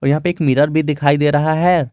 यहां पे एक मिरर भी दिखाई दे रहा है।